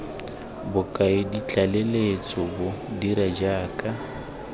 bokaedi tlaleletso bo dira jaaka